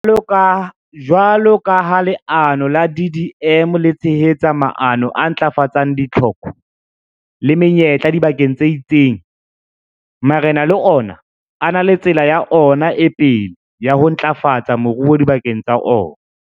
Jwalo ka ha leano la DDM le tshehetsa maano a ntlafatsang ditlhoko le menyetla dibakeng tse itseng, marena le ona a na le tsela ya ona e pele ya ho ntlafatsa moruo dibakeng tsa ona.